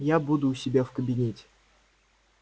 я буду у себя в кабинете